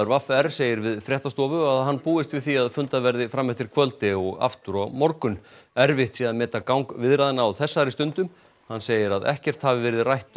v r segir við fréttastofu að hann búist við því að fundað verði fram eftir kvöldi og aftur á morgun erfitt sé að meta gang viðræðna á þessari stundu hann segir ekkert hafa verið rætt